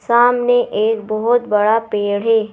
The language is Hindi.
सामने एक बहुत बड़ा पेड़ है।